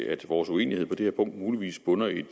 at vores uenighed på det her punkt muligvis bunder i